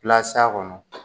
pila s'a kɔnɔ